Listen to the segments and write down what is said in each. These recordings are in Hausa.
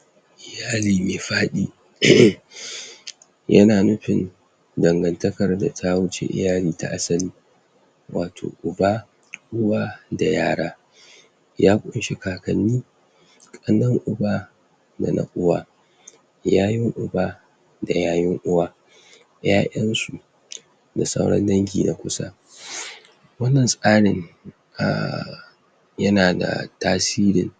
? iyali me faɗi?? yana nupin dangartakan da ta wuce iyali ta asali wato uba? uwa da yara ya ƙunshi kakanni ƙannen uba da na uwa yayun uba da yayun uwa ƴaƴansu? da sauran dangi na kusa? wannan tsarin um yana da tasirin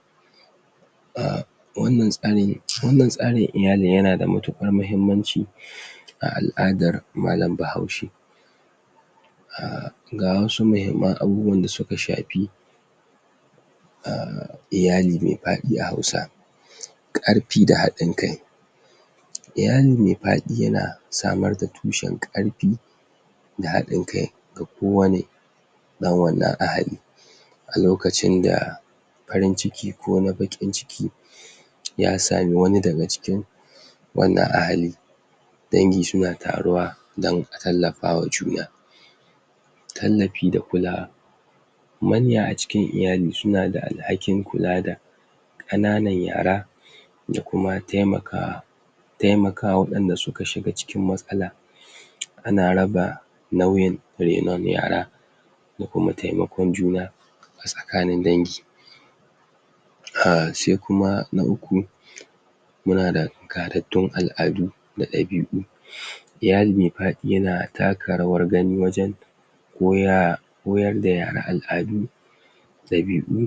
um wannan tsarin wannan tsarin iyalin yana da matuƙar mahimmanci? a al'adar malan bahaushe um ga wasu mahimman abubuwan da suka shapi um iyali me paɗi a hausa? ƙarpi da haɗin kai iyali me paɗi yana samar da tushen ƙarpi da haɗin kai ga kowane ɗan wannan ahali a lokacin da parin ciki ko wani baƙin ciki ya sami wani daga cikin wannan ahali dangi suna taruwa dan a tallafawa juna tallapi da kula manya a cikin iyali suna da alhakin kula da ƙananan yara da kuma taimaka taimakawa waɗanda suka shiga cikin matsala ana raba nauyin renon yara ko kuma taimakon juna a tsakanin dangi um sai kuma na uku? muna da gadaddun al'adu da ɗabi'u? iyali me paɗi yana taka rawar gani wajen koya koyar da yara al'adu ɗabi'u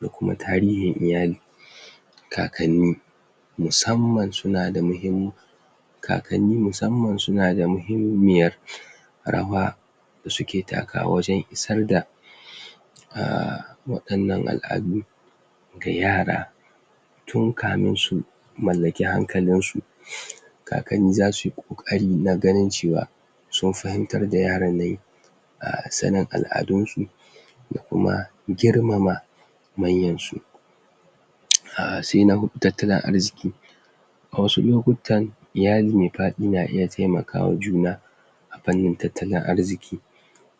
da kuma tarihin iyali kakanni musamman suna da muhim kakanni musamman suna da muhimmiyar rawa da suke takawa wajen isar da um waɗannan al'adu ga yara tun kamin su mallaki hankalinsu? kakanni zasu yi ƙoƙari na ganin cewa sun fahimtar da yaran nan um sanin al'adunsu da kuma girmama manyansu? um sai na huɗu tattalin arziki a wasu lokuttan iyali me paɗi na iya taimakawa juna a pannin tattalin arziki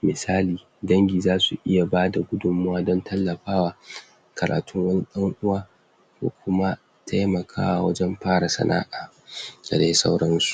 misali dangi zasu iya bada gudunmawa don tallapawa karatun wani ɗan uwa ko kuma taimakawa wajen para sana'a? da dai sauransu